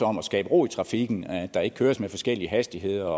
om at skabe ro i trafikken at der ikke køres med forskellige hastigheder